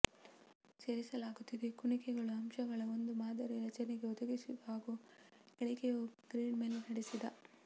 ಸೇರಿಸಲಾಗುತ್ತಿದೆ ಕುಣಿಕೆಗಳು ಅಂಶಗಳ ಒಂದು ಮಾದರಿ ರಚನೆಗೆ ಒದಗಿಸಿತು ಹಾಗೂ ಇಳಿಕೆಯೂ ಗ್ರಿಡ್ ಮೇಲೆ ನಡೆಸಿದ